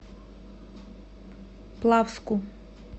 плавску